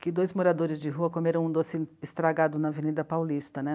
que dois moradores de rua comeram um doce estragado na Avenida Paulista, né?